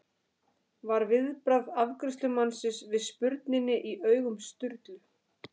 var viðbragð afgreiðslumannsins við spurninni í augum Sturlu.